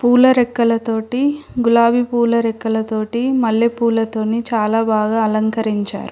పూల రెక్కలతోటి గులాబీ పూల రెక్కలతోటి మల్లెపూలతోని చాలా బాగా అలంకరించారు.